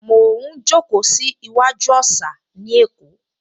Mo ń jókòó sí iwájú òsà ní Èkó